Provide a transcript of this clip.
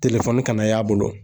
kana y'a bolo